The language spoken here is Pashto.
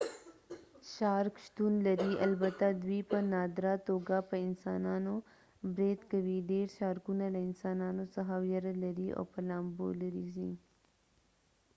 شارک شتون لري البته دوی په نادره توګه په انسانانو برید کوي ډیر شارکونه له انسانانو څخه ویره لري او په لامبو لري ځي